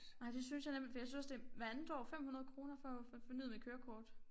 Nej det synes jeg nemlig for jeg synes også det hvert andet år 500 kroner for for at få fornyet mit kørekort